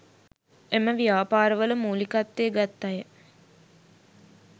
එම ව්‍යාපාර වල මූලිකත්වය ගත් අය